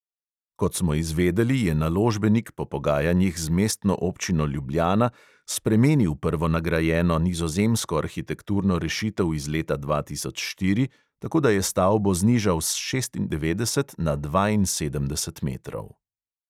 Kot smo izvedeli, je naložbenik po pogajanjih z mestno občino ljubljana spremenil prvonagrajeno nizozemsko arhitekturno rešitev iz leta dva tisoč štiri, tako da je stavbo znižal s šestindevetdeset na dvainsedemdeset metrov.